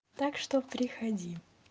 так что приходи